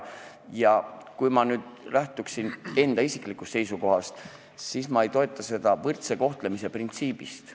Kui ma lähtuksin nüüd enda isiklikust seisukohast, siis ma ei toeta seda võrdse kohtlemise printsiibi tõttu.